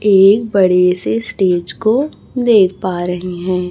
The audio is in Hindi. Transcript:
एक बड़े से स्टेज को देख पा रहीं हैं।